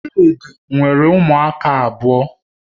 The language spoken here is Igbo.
Chidi nwere ụmụaka abụọ